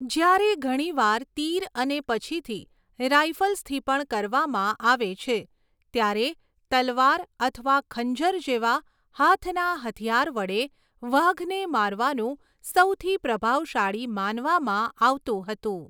જ્યારે ઘણીવાર તીર અને પછીથી રાઇફલ્સથી પણ કરવામાં આવે છે, ત્યારે તલવાર અથવા ખંજર જેવા હાથના હથિયાર વડે વાઘને મારવાનું સૌથી પ્રભાવશાળી માનવામાં આવતું હતું.